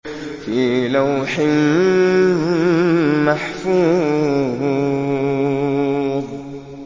فِي لَوْحٍ مَّحْفُوظٍ